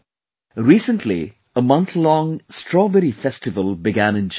Recently, a month long 'Strawberry Festival' began in Jhansi